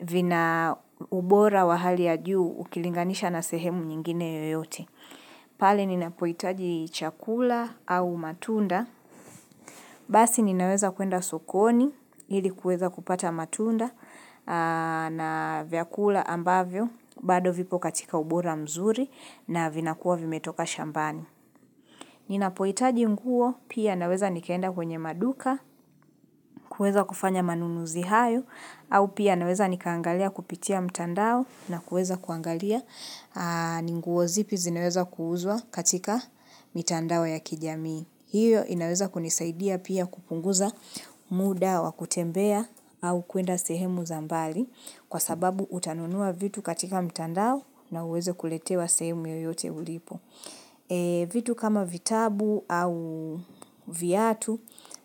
vina ubora wa hali ya juu ukilinganisha na sehemu nyingine yoyote. Pale ninapohitaji chakula au matunda, basi ninaweza kuenda sokoni ili kuweza kupata matunda na vyakula ambavyo, bado vipo katika ubora mzuri na vinakuwa vimetoka shambani. Ninapohitaji nguo, pia naweza nikeenda kwenye maduka, kueza kufanya manunuzi hayo, au pia naweza nikaangalia kupitia mtandao na kueza kuangalia ni nguo zipi zinaweza kuuuzwa katika mtandao ya kijamii. Hiyo inaweza kunisaidia pia kupunguza muda wa kutembea au kuenda sehemu za mbali kwa sababu utanunua vitu katika mtandao na uweza kuletewa sehemu yoyote ulipo. Vitu kama vitabu au viatu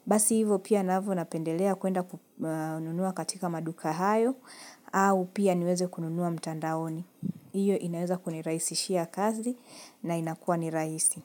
Basi hivo pia navyo napendelea kuenda kununua katika maduka hayo au pia niweze kununua mtandaoni hiyo inaweza kuniraisishia kazi na inakua ni rahisi.